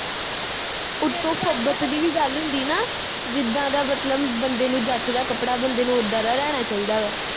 ਓਤੋਂ ਫੱਬਤ ਦੀ ਵੀ ਗੱਲ ਹੁੰਦੀ ਨਾ ਜਿੱਦਾ ਦਾ ਮਤਲਬ ਬੰਦੇ ਨੂੰ ਜੱਚਦਾ ਕੱਪੜਾ ਬੰਦੇ ਨੂੰ ਉੱਦਾਂ ਲੈਣਾ ਚਾਹੀਦਾ ਵਾ